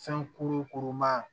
Fɛn kuru kuru maa